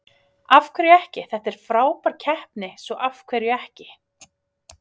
Af hverju ekki, þetta er frábær keppni svo af hverju ekki?